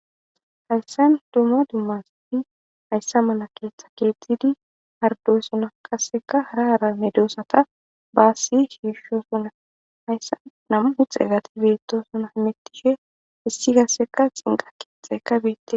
Hayissanni dumma dumma keththati hayissan mala keththa kexxidi haridossonna qasekka hara hara medosata basi shishshosonna hayissanni nam''u xeratti betosona .hemetishshe hessi qasekka xiniqaqi betees.